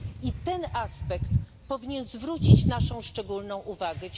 I ten aspekt powinien zwrócić naszą szczególną uwagę.